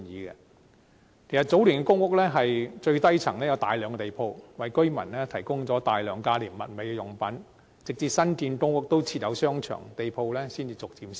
其實早年的公屋的最低層有大量地鋪，為居民提供大量價廉物美的用品，直至新建的公屋附設商場，地鋪才逐漸消失。